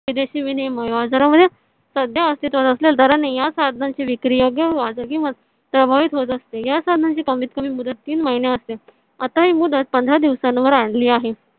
विदेशी विनिमय बाजारामध्ये सध्या अस्तित्वात असेलेल्या दरानी या साधनांची विक्री प्रभावित होत असते. या साधनांची कमीत कमी मुदत तीन महिने असते. आता ही मुदत पंधरा दिवसांवर आणली आहे.